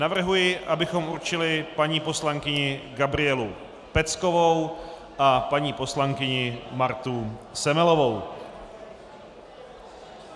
Navrhuji, abychom určili paní poslankyni Gabrielu Peckovou a paní poslankyni Martu Semelovou.